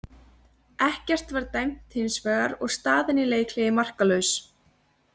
Ekkert var dæmt hins vegar og staðan í leikhléi markalaus.